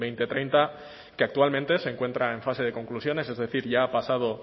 dos mil treinta que actualmente se encuentra en fase de conclusiones es decir ya ha pasado